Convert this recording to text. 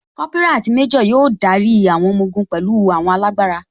Kópírà àti méjò yóò darí àwọn ọmọ ogun pẹ̀lú àwọn alágbára